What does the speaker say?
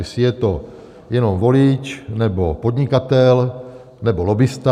Jestli je to jenom volič, nebo podnikatel, nebo lobbista.